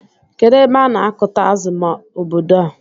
Kedụ ebe ana akuta azụ na ọbọdọ a?